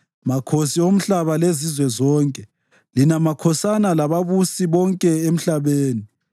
makhosi omhlaba lezizwe zonke, lina makhosana lababusi bonke emhlabeni,